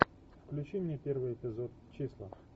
включи мне первый эпизод числа